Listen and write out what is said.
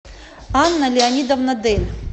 анна леонидовна дель